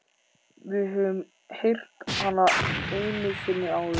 Við höfum heyrt hana einu sinni áður.